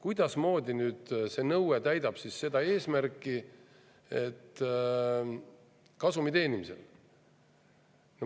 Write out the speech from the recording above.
Mismoodi täidab see nõue kasumi teenimise eesmärki?